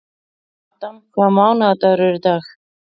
Adam, hvaða mánaðardagur er í dag?